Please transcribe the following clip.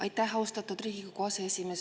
Aitäh, austatud Riigikogu aseesimees!